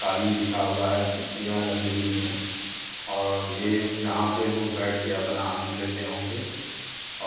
कालीन बिछा हुआ है कुर्सियां लगी हुई हैं और ये यहाँ पे (पर) लोग बैठ के अपना आनंद लेते होंगे